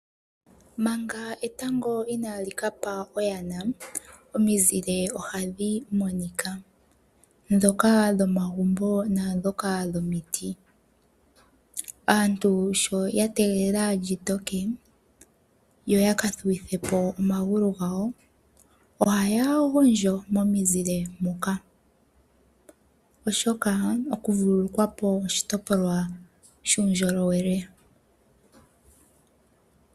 Manga etango inaa likapa oyana omizile monika ndhoka yomagumbo naandhoka dhomiti. Aantu shoya tegelela lyitoke , yoyaka thuwithepo omagulu gwawo , ohaya gondjo momuzile moka oshoka okuvulukwapo oshitopolwa shuundjolowele.